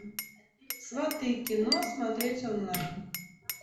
сваты кино смотреть онлайн